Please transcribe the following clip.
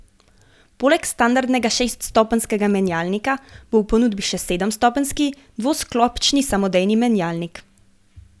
Poleg standardnega šeststopenjskega menjalnika bo v ponudbi še sedemstopenjski dvosklopčni samodejni menjalnik.